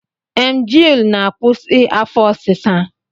Emgyl na-akwusi afọ ọsịsa